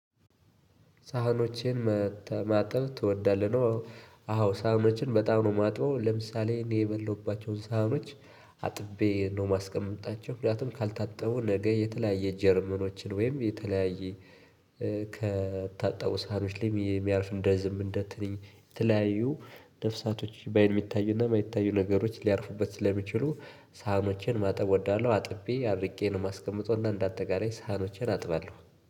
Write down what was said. ሳህኖቼን ማጠብ ትወዳለህ ነው አዎ ሳህኖቼን በጣም ነው ማጥበው ለምሳሌ እኔ የበላሁባቸውን ሳህኖች አጥቤ ነው ማስቀምጣቸው ምክንያቱም ካልታጠቡ ነገ የተለያየ ጀርመኖችን ወይም የተለያየ ከታጠበው ሳህኖች ላይ የሚያርፍ እንደ ዝንብ እንደ ትንኝ የተለያዩ ነፍሳቶች በአይን የሚታዩና የማይታዩ ነገሮች ሊያርፉበት ስለሚችሉ ሳህኖችን ማጠብ እወዳለሁ። አጥቤ አድርቄ ነው ማስቀመጠው እና እንደ አጠቃላይ ሳህኖቼን አጥባለሁ።